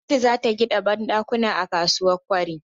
Gwamnati zata gida banɗakuna a kasuwa kwari